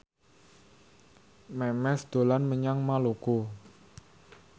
Memes dolan menyang Maluku